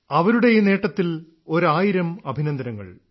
അവരുടെ ഈ നേട്ടത്തിൽ ഒരായിരം അഭിനന്ദനങ്ങൾ